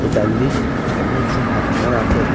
Bu dəlilik onun üçün həddindən ağır.